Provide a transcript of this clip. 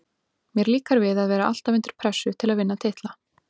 Mér líkar við að vera alltaf undir pressu til að vinna titla.